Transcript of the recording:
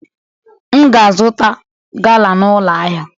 M ga-azụta gala n'ụlọ ahịa.